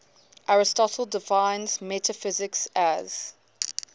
aristotle defines metaphysics as